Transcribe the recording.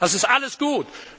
Das ist alles gut.